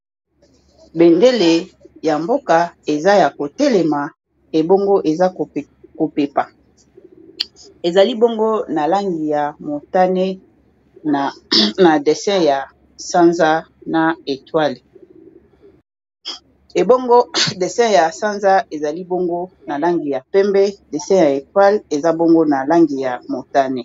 bendele ya mboka eza ya kotelema ebongo eza kopepa ezali bongo na langi ya motane e desin ya etwale eza bongo na langi ya motane